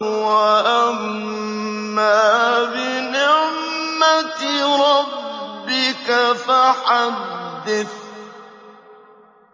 وَأَمَّا بِنِعْمَةِ رَبِّكَ فَحَدِّثْ